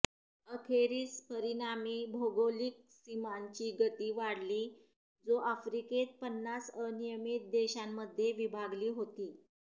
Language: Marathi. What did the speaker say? अखेरीस परिणामी भौगोलिक सीमांची गती वाढली जो आफ्रिकेत पन्नास अनियमित देशांमध्ये विभागली होती